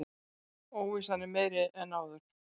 Óvissan meiri en áður